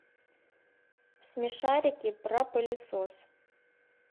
смешарики про пылесос